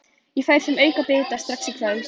Ég færi þeim aukabita strax í kvöld.